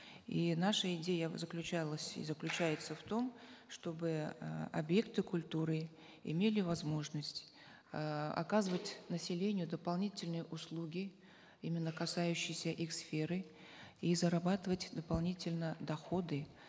и наша идея заключалась и заключается в том чтобы э объекты культуры имели возможность э оказывать населению дополнительные услуги именно касающиеся их сферы и зарабатывать дополнительно доходы